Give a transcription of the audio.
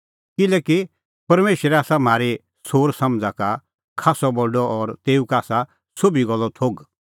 किल्हैकि परमेशर आसा म्हारी सोरसमझ़ा का खास्सअ बडअ और तेऊ का आसा सोभी गल्लो थोघ